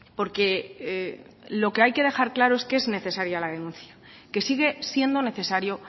porque lo que hay que dejar claro es que es necesaria la denuncia que sigue siendo necesario